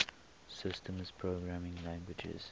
systems programming languages